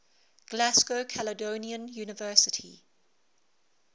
glasgow caledonian university